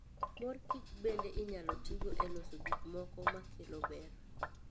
Mor Kicho bende inyalo tigo e loso gik moko makelo ber.